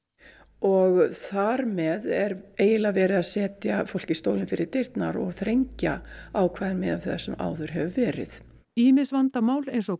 og þar með er eiginlega verið að setja fólki stólinn fyrir dyrnar og þrengja ákvæði miðað það sem áður hefur verið ýmis vandamál eins og